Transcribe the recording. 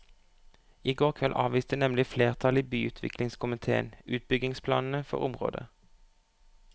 I går kveld avviste nemlig flertallet i byutviklingskomitéen utbyggingsplanene for området.